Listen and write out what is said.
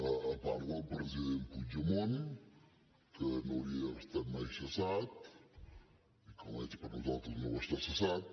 a part del president puigdemont que no hauria d’haver estat mai cessat i que almenys per nosaltres no ho està cessat